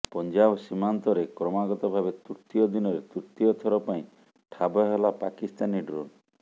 ପଞ୍ଜାବ ସୀମାନ୍ତରେ କ୍ରମାଗତ ଭାବେ ତୃତୀୟ ଦିନରେ ତୃତୀୟ ଥର ପାଇଁ ଠାବ ହେଲା ପାକିସ୍ତାନୀ ଡ୍ରୋନ୍